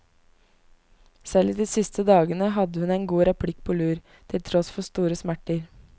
Selv i de siste dagene hadde hun en god replikk på lur, til tross for store smerter.